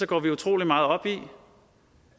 går vi utrolig meget op i